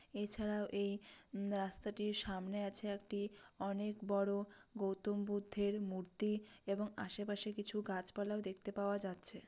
এছাড়াও এই উম রাস্তাটির সামনে আছে একটি অনেক বড়ো গৌতম বুদ্ধের মূর্তি এবং আশেপাশে কিছু গাছপালাও দেখতে পাওয়া যাচ্ছে।